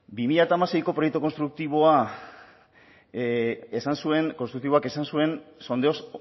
bi mila hamaseiko proiektu konstruktiboak esan zuen sondeo